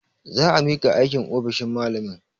Za a miƙa aikin a ofishin malamin.